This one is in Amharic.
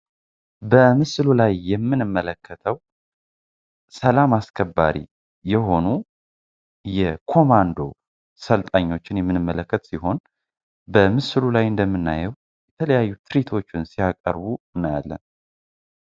በምስሉ ላይ የምንመለከተው ሰላም አስከባሪ የሆኑ የኮማንዶችን የምንመለከት ሲሆን በምስሉ ላይ እንደምናየው የተለያዩ ትርዕት ሲያቀርቡ እናያለን።